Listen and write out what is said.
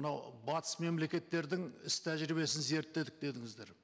мынау батыс мемлекеттердің іс тәжірибесін зерттедік дедіңіздер